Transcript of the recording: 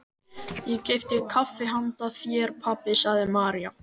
Ég keypti kaffi handa þér, pabbi, sagði María.